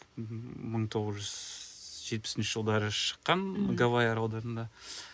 мхм мың тоғыз жүз жетпісінші жылдары шыққан гавайи аралдарында